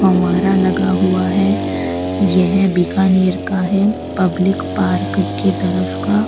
फव्वारा लगा हुआ है यह बीकानेर का है पब्लिक पार्क के तरफ का।